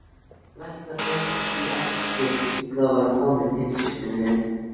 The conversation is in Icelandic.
Læknar leyndu því ekki hve illa var komið heilsu minni.